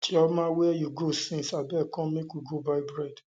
chioma where you go since abeg come make we go buy bread